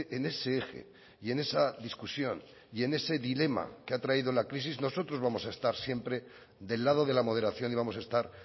en ese eje y en esa discusión y en ese dilema que ha traído la crisis nosotros vamos a estar siempre del lado de la moderación y vamos a estar